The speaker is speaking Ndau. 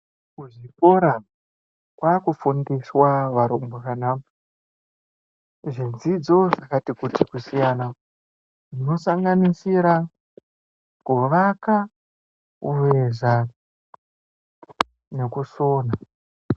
Kuzvikora kwaakufundiswa varumbwana ,zvidzidzo zvakati kuti kusiyana, zvinosanganisira kuvaka, kuveza, nekusona.